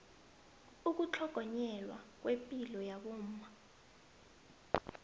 ukutlhogonyelwa kwepilo yabomma